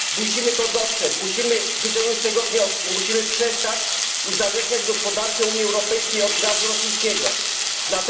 Musimy to dostrzec, musimy wyciągnąć z tego wnioski, musimy przestać uzależniać gospodarkę Unii Europejskiej od rosyjskiego gazu.